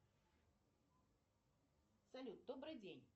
салют добрый день